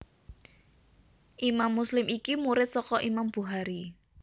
Imam Muslim iki murid saka Imam Bukhari